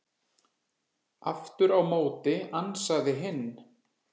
Aftur á móti ansaði hinn: